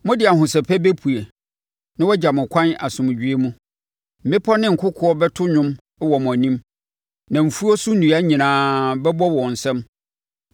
Mode ahosɛpɛ bɛpue na wɔagya mo kwan asomdwoeɛ mu; mmepɔ ne nkokoɔ bɛto nnwom wɔ mo anim, na mfuo so nnua nyinaa bɛbɔ wɔn nsam.